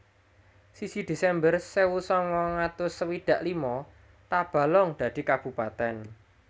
Siji Desember Sewu sangang atus swidak lima Tabalong dadi kabupatèn